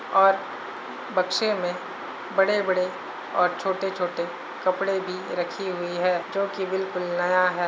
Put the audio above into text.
और बक्से में बड़े-बड़े और छोटे-छोटे कपड़े भी रखी हुई हैं जो कि बिल्कुल नया है।